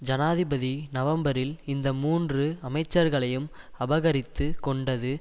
ஜனாதிபதி நவம்பரில் இந்த மூன்று அமைச்சர்களையும் அபகரித்து கொண்டது